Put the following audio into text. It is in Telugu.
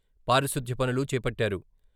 పారిశ్యుద్ధ పనులు చేపట్టారు.